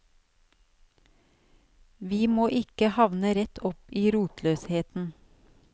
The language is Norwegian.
Vi må ikke havne rett opp i rotløsheten.